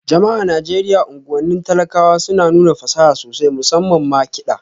Jama'a a Najeriya unguwannin talakawa suna nuna fasaha sosai, musamman ma kiɗa